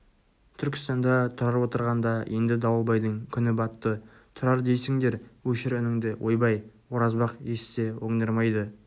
түркістанда тұрар отырғанда енді дауылбайдың күні батты тұрар дейсіңдер өшір үніңді ойбай оразбақ естісе оңдырмайды